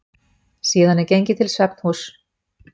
Síðan er gengið til svefnhúss.